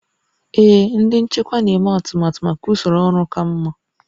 Ee, ndị nchịkwa na-eme atụmatụ maka usoro ọrụ ka mma